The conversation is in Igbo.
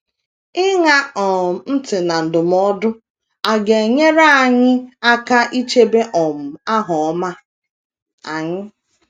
Ịṅa um ntị na ndụmọdụ a ga - enyere anyị aka ichebe um aha ọma anyị.